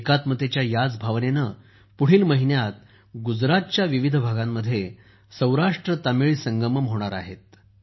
एकात्मतेच्या ह्याच भावनेने पुढील महिन्यात गुजरातच्या विविध भागांमध्ये सौराष्ट्रतमिळ संगम होणार आहे